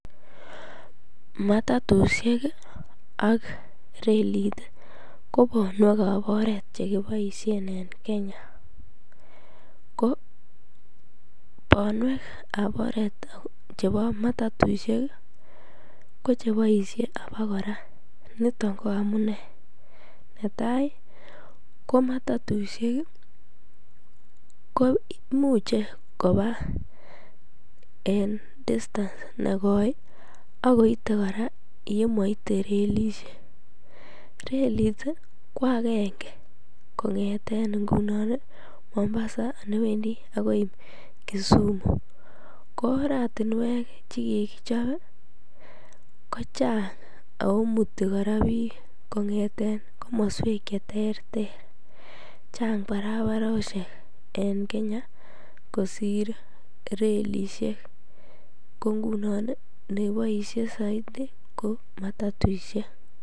Matatushek ak reliit ko bonwekab oreet chekiboishen en Kenya, ko bonwekab oreeet chebo matatushek ko cheboishe abakora niton ko amune, netai ko matatushek ko muche kobaa en distance nekoi ak koite kora yemoite relishek, relit ko akenge kongeten ingunon Mombasa newendi akoi Kisumu, ko oratinwek chekikichob ko chang oo muti kora biik kong'eten komoswek cheterter chang barararosheken Kenya kosir relishek ko ngunon neboishe soiti ko matoishek.